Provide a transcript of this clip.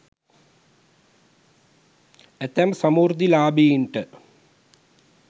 ඇතැම් සමෘද්ධිලාභීන්ට